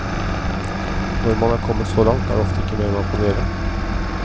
Når man er kommet så langt, er det ofte ikke mer man kan gjøre.